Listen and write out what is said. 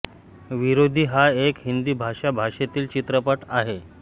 विरोधी हा एक हिंदी भाषा भाषेतील चित्रपट आहे